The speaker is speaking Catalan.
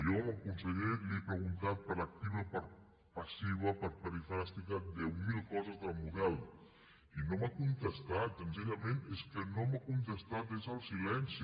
jo al conseller li he preguntat per activa i per passiva per perifràstica deu mil coses del model i no m’ha contestat senzillament és que no m’ha contestat és el silenci